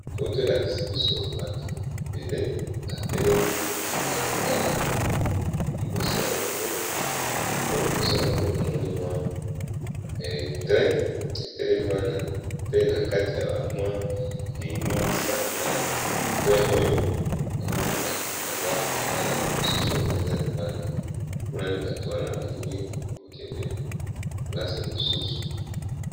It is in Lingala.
Foto elakisi biso bato ebele batelemi baza kotalato liboso na bango namoni mwa 3 etelemi wana pe na kati ya mwa lininisa na t oyo namoni bato baza kotala mosusu oyo baza libanda monani bato wana balingi kokende plase mosusu.